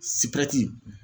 Sirɛnti